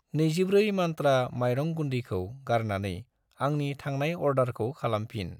24 मन्त्रा माइरं गुन्दैखौ गारनानै आंनि थांनाय अर्डारखौ खालामफिन।